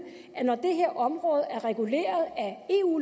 at når det her område er reguleret af eu